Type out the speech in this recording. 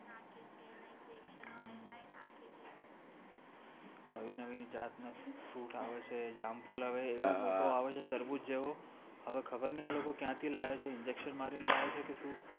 નવી નવી જાતનો fruit આવે છે જામફળ એવો મોટો આવે છે તરબૂચ જેવું હવે ખબર નહિ આ લોકો ક્યાંથી લાવેછે injection મારીને લાવે છે કે શું